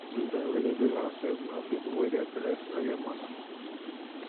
children wey dey do househelp na pipo wey their parents no get money